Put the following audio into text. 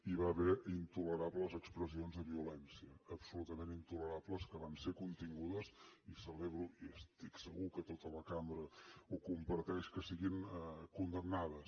hi va haver intolerables expressions de violència absolutament intolerables que van ser contingudes i celebro i estic segur que tota la cambra ho comparteix que siguin condemnades